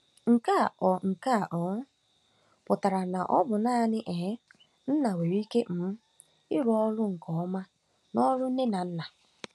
Nke a ọ̀ Nke a ọ̀ um pụtara na ọ bụ naanị um nna nwere ike um ịrụ ọrụ nke ọma n'ọrụ nne na nna?